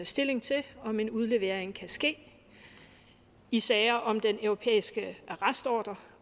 stilling til om en udlevering kan ske i sager om den europæiske arrestordre